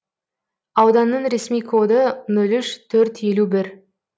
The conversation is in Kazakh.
ауданның ресми коды нөл үш төрт елу бір